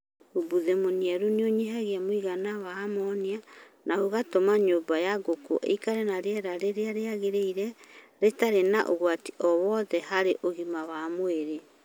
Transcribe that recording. Umbuthĩ mũniaru nĩunyihagia mũigana wa amonia na ũgatũma nyũmba ya ngũkũ ĩikarage na rĩera rĩrĩa rĩagĩrĩire rĩtarĩ na ũgwati o wothe harĩ ũgima wa mwĩrĩ.